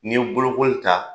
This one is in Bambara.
Ni ye bolokoli ta